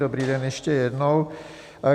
Dobrý den ještě jednou.